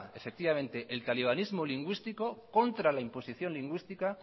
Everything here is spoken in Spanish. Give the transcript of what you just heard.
el talimanismo lingüístico contra la imposición lingüística